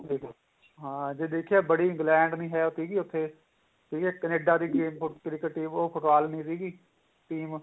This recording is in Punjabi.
ਬਿਲਕੁਲ ਹਾਂ ਜੇ ਦੇਖੀਏ ਬੜੀ England ਨੀਂ ਸੀਗੀ ਉੱਥੇ ਠੀਕ ਏ Canada ਦੀ cricket team ਉਹ ਨਹੀਂ ਸੀਗੀ team